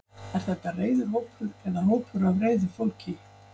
er þetta reiður hópur eða hópur af reiðu fólki